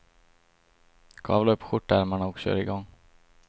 Kavla upp skjortärmarna och kör i gång.